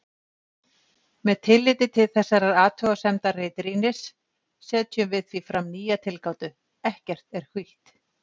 Með tilliti til þessarar athugasemdar ritrýnis setjum við því fram nýja tilgátu: ekkert er hvítt.